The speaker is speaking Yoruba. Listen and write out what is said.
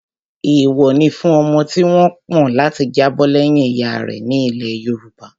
Èèwọ̀ ni fún ọmọ tí wọ́n pọ̀n láti jábọ̀ lẹ́yìn ìyá rẹ̀ ní ilẹ̀ yoòbá